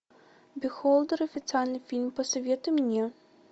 бехолдер официальный фильм посоветуй мне